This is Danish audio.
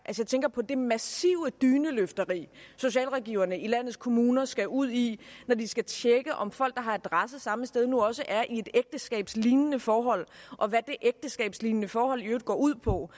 jeg tænker på det massive dyneløfteri socialrådgiverne i landets kommuner skal ud i når de skal tjekke om folk der har adresse samme sted nu også er i et ægteskabslignende forhold og hvad det ægteskabslignende forhold i øvrigt går ud på